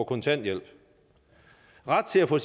kontanthjælp ret til at få